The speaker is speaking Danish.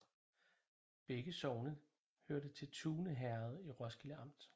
Begge sogne hørte til Tune Herred i Roskilde Amt